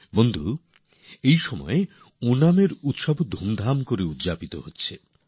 বন্ধুগণ এই সময়ে ওণাম উৎসব মহা ধুমধামে উদযাপিত হচ্ছে